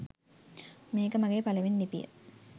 මේක මගේ පළවෙනි ලිපිය